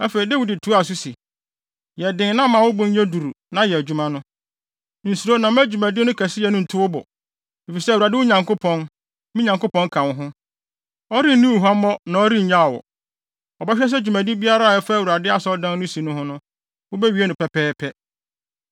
Afei, Dawid toaa so se, “Yɛ den na ma wo bo nyɛ duru na yɛ adwuma no. Nsuro na mma dwumadi no kɛseyɛ ntu wo bo, efisɛ Awurade Nyankopɔn, me Nyankopɔn, ka wo ho. Ɔrenni wo huammɔ na ɔrennya wo. Ɔbɛhwɛ sɛ dwumadi biara a ɛfa Awurade Asɔredan no si ho no, wobewie no pɛpɛɛpɛ.